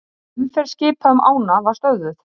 Bein útsending frá nefndarfundi